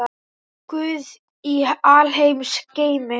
Guð í alheims geimi.